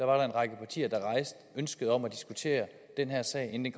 var en række partier der rejste ønsket om at diskutere den her sag inden